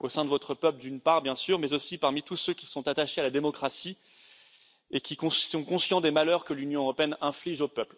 au sein de votre peuple, d'une part, bien sûr, mais aussi parmi tous ceux qui sont attachés à la démocratie et qui sont conscients des malheurs que l'Union européenne inflige aux peuples.